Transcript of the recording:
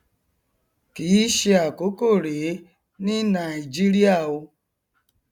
kìí ṣe àkọkọ rèé ni nàaìjíríà o